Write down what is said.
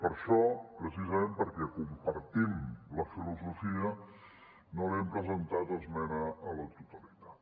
per això precisament perquè compartim la filosofia no hi hem presentat esmena a la totalitat